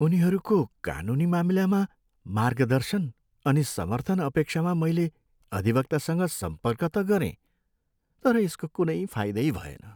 उनीहरूको कानुनी मामिलामा मार्गदर्शन अनि समर्थन अपेक्षामा मैले अधिवक्तासँग सम्पर्क त गरेँ, तर यसको कुनै फाइदै भएन!